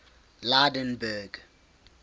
lydenburg